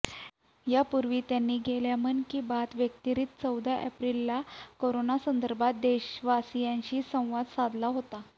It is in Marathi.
यापूर्वी त्यांनी गेल्या मन की बात व्यतिरिक्त चौदा एप्रिलला कोरोनासंदर्भात देशवासियांशी संवाद साधला होता